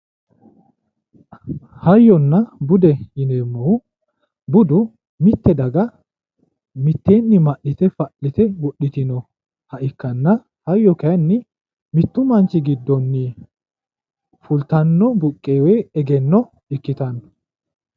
Hayyonna bude yineemmohu budu mitte daga mitteenni ma'lite fa'lite wodhitinoha ikkanna, hayyo kayiinni mittu manchi giddonni fultanno egenno ikkitanno.